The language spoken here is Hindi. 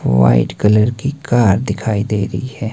वाइट कलर की कार दिखाई दे रही है।